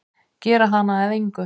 Gera hana að engu.